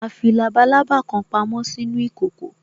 A fi labalábá kan pamo sínú ìkòkò